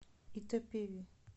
итапеви